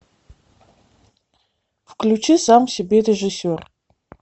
включи сам себе режиссер